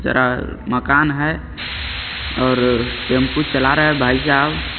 जरा मकान है। और टेंपु चला रहे भाईसाब --